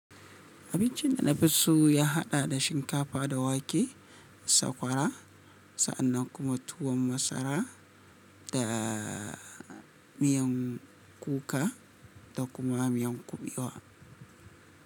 Abincin da na fi so ya haɗa da shinkafa da wake, sakwara sannan kuma tuwon masara da miyan kuka da kuma miyan kuɓewa.